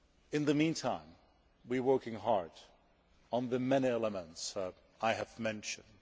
In the meantime we are working hard on the many elements I have mentioned.